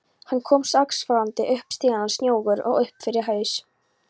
Hann kom askvaðandi upp stigana, snjóugur upp fyrir haus.